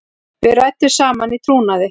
Við ræddum saman í trúnaði.